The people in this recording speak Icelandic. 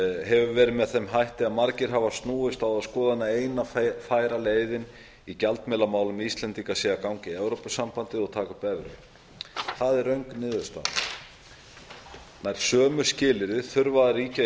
hefur verið með þeim hætti að margir hafa snúist á þá skoðun að eina færa leiðin í gjaldmiðlamálum íslendinga sé að ganga í evrópusambandið og taka upp evru það er röng niðurstaða nær sömu skilyrði þurfa að ríkja í